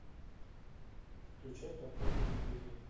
включай подпольная империя